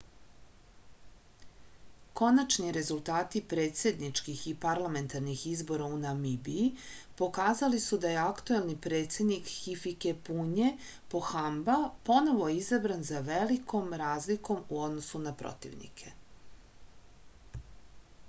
konačni rezultati predsedničkih i parlamentarnih izbora u namibiji pokazali su da je aktuelni predsednik hifikepunje pohamba ponovo izabran sa velikom razlikom u odnosu na protivnike